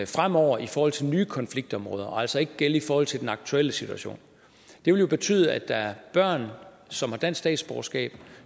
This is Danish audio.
fremover i forhold til nye konfliktområder og altså ikke vil gælde i forhold til den aktuelle situation det vil jo betyde at der er børn som har dansk statsborgerskab og